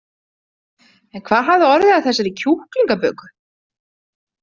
En hvað hafði orðið af þessari kjúklingaböku?